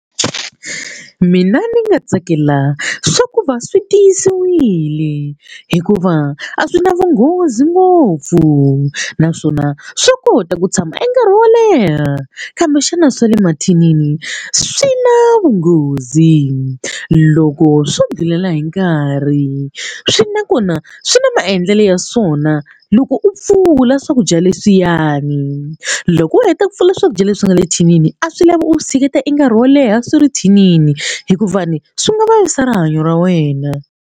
Mina ni nga tsakela swa ku va swi tiyisiwile hikuva a swi na vunghozi ngopfu naswona swa kota ku tshama nkarhi wo leha kambe xana swa le mathinini swi na vunghozi loko swo ndlhulela hi nkarhi swi nakona swi na maendlelo ya swona loko u pfula swakudya leswiyani loko u heta ku pfula swakudya leswi nga le thinini a swi lava u tshiketa i nkarhi wo leha swi ri thinini hikuva ni swi nga vavisa rihanyo ra wena.